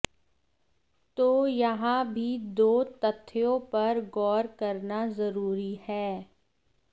तो यहा भी दो तथ्यो पर गौर करना जरुरी है